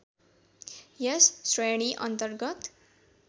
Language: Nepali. यस श्रेणी अन्तर्गत